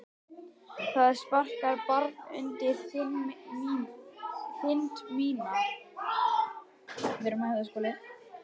Það sparkar barn undir þind mína.